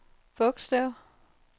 bogstav